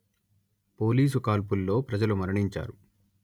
police కాల్పుల్లో ప్రజలు మరణించారు